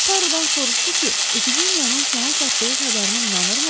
Tarudan soruşdu ki, epidemiyanın sona çatdığı xəbərinə inanırmı?